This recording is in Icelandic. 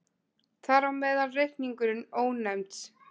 Þar á meðal reikningurinn Ónefnds.